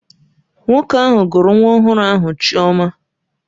Nwoke ahụ gụrụ nwa ọhụrụ ahụ Chioma